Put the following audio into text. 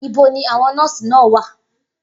Ibo ni àwọn nọ́ọ̀sì náà wà?